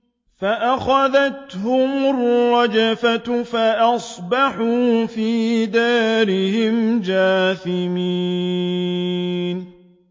فَأَخَذَتْهُمُ الرَّجْفَةُ فَأَصْبَحُوا فِي دَارِهِمْ جَاثِمِينَ